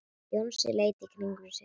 Jónsi leit í kringum sig.